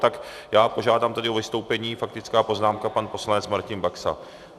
Tak já požádám tedy o vystoupení, faktická poznámka, pan poslanec Martin Baxa.